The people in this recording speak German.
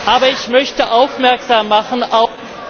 Aber ich möchte aufmerksam machen auf